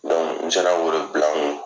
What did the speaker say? n sera k'o de bila n kun.